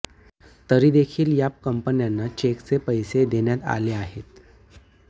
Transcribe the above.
तरी देखील या कंपन्यांना चेकचे पैसे देण्यात आले आहेत